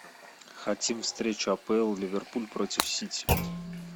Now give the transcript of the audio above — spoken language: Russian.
хотим встречу апл ливерпуль против сити